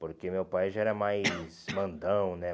Porque meu pai já era mais mandão, né?